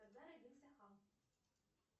когда родился хам